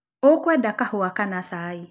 Ũkwenda kahũa kana cai?